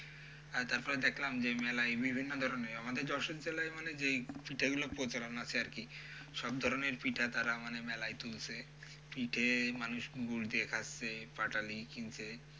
হ্যাঁ তারপরে দেখলাম যে মেলায় বিভিন্ন ধরনের আমাদের যশোরী তলায় মানে যে পিঠে গুলোর প্রচলন আছে আরকি সব ধরনের পিঠা তারা মানে মেলায় তুলছে। পিঠে মানুষ গুড় দিয়ে খাচ্ছে, পাটালি কিনছে।